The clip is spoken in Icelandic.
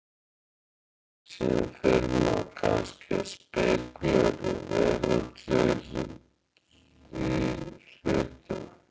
Síðan fer maður kannski að spekúlera í veraldlegri hlutum.